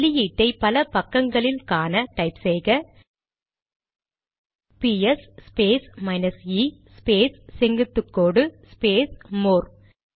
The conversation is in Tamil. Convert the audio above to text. வெளியீட்டை பல பக்கங்களில் காண டைப் செய்க ps space minus e space செங்குத்துகோடு ஸ்பேஸ் மோர்